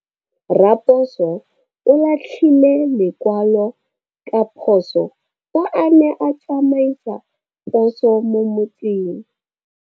Raposo o latlhie lekwalô ka phosô fa a ne a tsamaisa poso mo motseng.